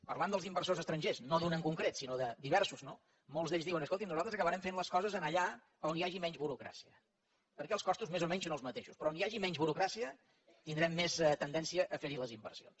parlant dels inversors estrangers no d’un en concret sinó de diversos no molts d’ells diuen escoltin nosaltres acabarem fent les coses allà on hi hagi menys burocràcia perquè els costos més o menys són els mateixos però on hi hagi menys burocràcia tindrem més tendència a fer hi les inversions